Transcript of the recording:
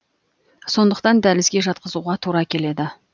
сондықтан дәлізге жатқызуға тура келеді